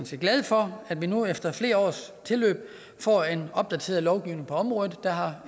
set glade for at vi nu efter flere års tilløb får en opdateret lovgivning på området der har